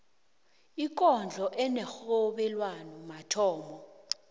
ikondlo enerhobelwano mathomo